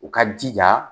U ka jija